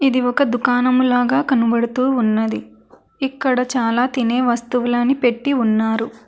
ఇది ఒక దుకాణము లాగా కనబడుతూ ఉన్నది ఇక్కడ చాలా తినే వస్తువులని పెట్టి ఉన్నారు.